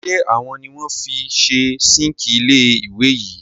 Ṣé àwo ni wọ́n fi ṣe síǹkì ilé ìwẹ̀ yìí?